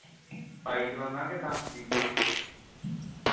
ਸਫ਼ਾਈ ਦੇ ਵਿਚ ਲਗਾਉਣਾ ਕੇ ਲੀਕਾਂ